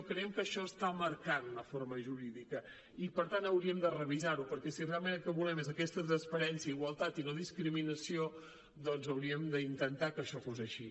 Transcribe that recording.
creiem que això està marcant una forma jurídica i per tant hauríem de revisar ho perquè si realment el que volem és aquesta transparència igualtat i no discriminació doncs hauríem d’intentar que això fos així